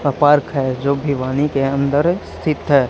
था पार्क है जो के अंदर सित है।